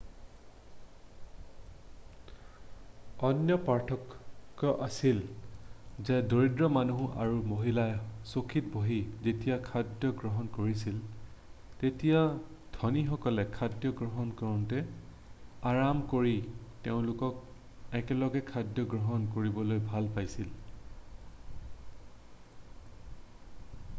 অন্য পাৰ্থক্য আছিল যে দৰিদ্ৰ মানুহ আৰু মহিলাই চকীত বহি যেতিয়া খাদ্য গ্ৰহণ কৰিছিল তেতিয়া ধনীসকলে খাদ্য গ্ৰহণ কৰোঁতে আৰাম কৰি তেওঁলোক একেলগে খাদ্য গ্ৰহণ কৰিবলৈ ভাল পাইছিল